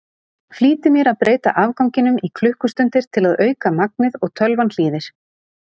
Flýti mér að breyta afganginum í klukkustundir til að auka magnið og tölvan hlýðir.